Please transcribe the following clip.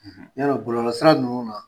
N ɲalɔ bɔlɔlɔ sira ninnu na